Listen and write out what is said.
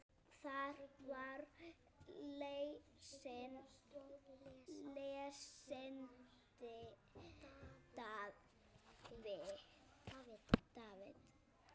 Þar var lesinn David